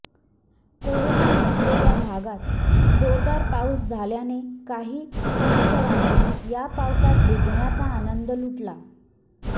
corona नसलेल्या भागांत जोरदार पाऊस झाल्याने काही पुणेकरांनी या पावसात भिजण्याचा आनंद लुटला